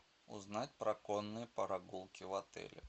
узнать про конные прогулки в отеле